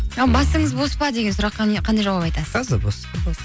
ал басыңыз бос па деген сұраққа қандай жауап айтасыз